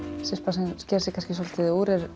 sem sker sig kannski svolitið úr er